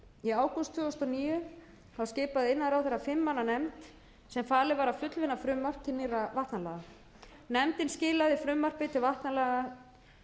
í ágúst tvö þúsund og níu skipaði iðnaðarráðherra fimm manna nefnd sem falið var að fullvinna frumvarp til nýrra vatnalaga nefndin skilaði frumvarpi til vatnalaga